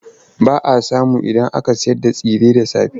Ba a samun inda ake sayarda tsire da safe.